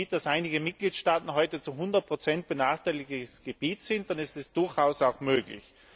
Wenn man sieht, dass einige Mitgliedstaaten zu hundert Prozent benachteiligtes Gebiet sind, ist dies durchaus auch möglich.